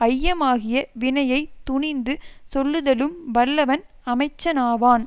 ஐயமாகிய வினையை துணிந்து சொல்லுதலும் வல்லவன் அமைச்சனாவான்